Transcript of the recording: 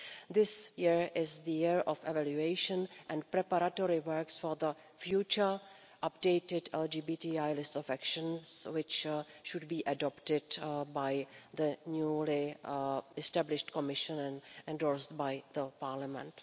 This year is the year of evaluation and preparatory works for the future, updated LGBTI list of actions which should be adopted by the newly established Commission and endorsed by Parliament.